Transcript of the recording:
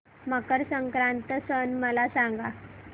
मकर संक्रांत सण मला सांगा